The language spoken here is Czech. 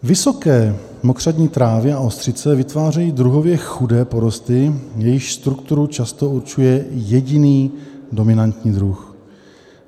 Vysoké mokřadní trávy a ostřice vytvářejí druhově chudé porosty, jejichž strukturu často určuje jediný dominantní druh.